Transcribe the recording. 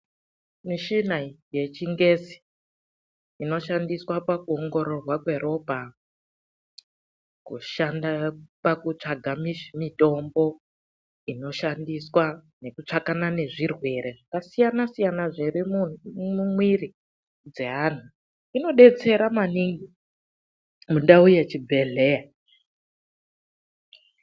Michina iyi yechingezi inoshandiswa pakuongororwa kweropa, kushanda pakutsvaka mitombo inoshandiswa nekutsvakana nezvirwere zvakasiyanasiyana zviri mumwiri dzeantu, inodetsera maningi mundau yechibhehleya.